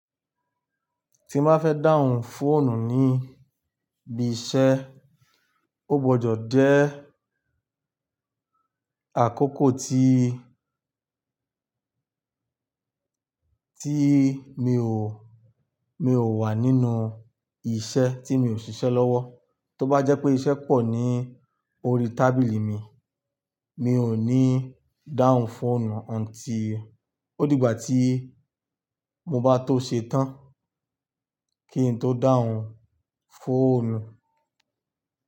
Tí mo bá fẹ́ dáhùn fóònù níbi iṣẹ́, ó gbọdọ̀ jẹ́ àkókò tí, tí mi ò, mi ò wà nínú iṣẹ́ tí mi ò ṣiṣẹ́ lọ́wọ́. Tó bá jẹ́ pé iṣẹ́ pọ̀ ní orí tábìlì mi, mi ò ní dáhùn fóònù until ó dìgbà tí mo bá tó ṣe tán kí n tó dáhùn fóònù.